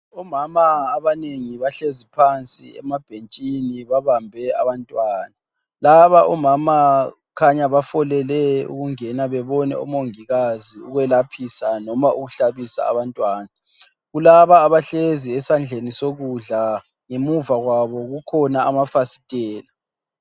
Omama abanengi bahlezi phansi emabhentshini babambe abantwana, laba omama kukhanya bafolele ukungena bebone umongikazi ukuyelaphisa noma ukuhlabisa abantwana, kulaba abahlezi esandleni sokudla ngemuva kwabo kukhona amafasitela